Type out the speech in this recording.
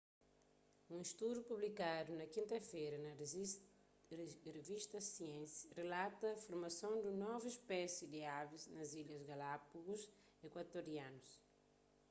un studu publikadu na kinta-fera na revista science rilata formason di un novu spési di avis na ilhas galápagus ekuatorianus